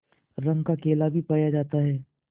रंग का केला भी पाया जाता है